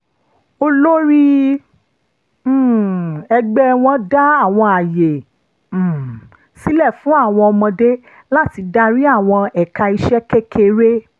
olórí um ẹgbẹ́ wọn dá àwọn àyè um sílẹ̀ fún àwọn ọmọdé láti darí àwọn ẹ̀ka iṣẹ́ kékeré